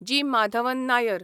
जी. माधवन नायर